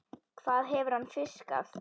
Hvað hefur hann fiskað?